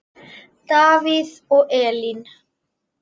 Davíð og Elín.